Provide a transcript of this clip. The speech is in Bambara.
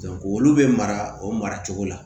olu bɛ mara o mara cogo la